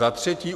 Za třetí.